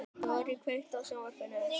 Dorri, kveiktu á sjónvarpinu.